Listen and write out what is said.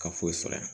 Ka foyi sɔrɔ yan